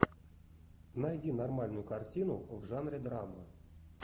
найди нормальную картину в жанре драма